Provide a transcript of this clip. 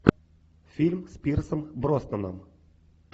фильм с пирсом броснаном